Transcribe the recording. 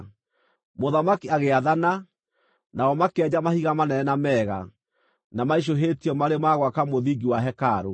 Mũthamaki agĩathana, nao makĩenja mahiga manene na mega, na maicũhĩtio marĩ ma gwaka mũthingi wa hekarũ.